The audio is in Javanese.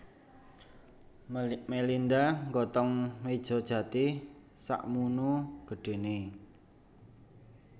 Melinda nggotong meja jati sakmunu gedhene